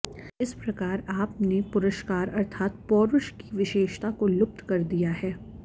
इस प्रकार आप ने पुरुषकार अर्थात् पौरुष की विशेषता को लुप्त कर दिया है